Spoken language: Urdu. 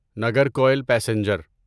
نگرکوئل پیسنجر